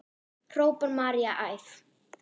hrópar María æf.